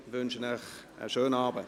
Ich wünsche Ihnen einen schönen Abend.